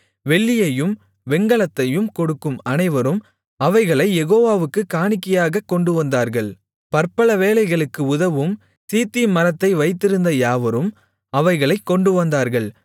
வெள்ளியையும் வெண்கலத்தையும் கொடுக்கும் அனைவரும் அவைகளைக் யெகோவாவுக்குக் காணிக்கையாகக் கொண்டுவந்தார்கள் பற்பல வேலைகளுக்கு உதவும் சீத்திம் மரத்தை வைத்திருந்த யாவரும் அவைகளைக் கொண்டுவந்தார்கள்